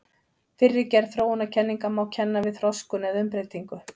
Fyrri gerð þróunarkenninga má kenna við þroskun eða umbreytingu.